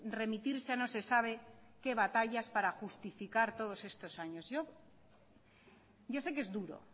remitirse a no se sabe qué batallas para justificar todos estos años